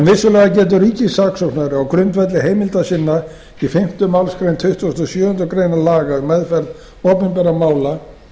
vissulega getur ríkissaksóknari á grundvelli heimilda sinna í fimmta málsgrein tuttugustu og sjöundu grein laga um meðferð opinberra mála